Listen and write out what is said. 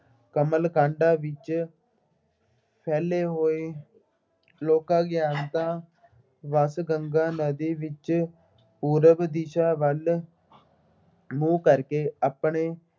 ਕਮਲ ਕਾਂਡਾਂ ਵਿੱਚ ਫੈਲੇ ਹੋਏ ਲੋਕ ਅਗਿਆਨਤਾ, ਵੱਸ ਗੰਗਾ ਨਦੀ ਵਿੱਚ ਪੂਰਬ ਦਿਸ਼ਾ ਵੱਲ ਮੂੰਹ ਕਰਕੇ ਆਪਣੇ